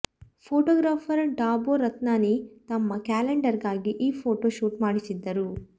photographer Dabboo Ratnani ತಮ್ಮ ಕ್ಯಾಲೆಂಡರ್ಗಾಗಿ ಈ ಪೋಟೋ ಶೂಟ್ ಮಾಡಿಸಿದ್ದರು